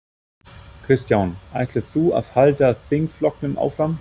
Kristján: Ætlar þú að halda þingflokknum áfram?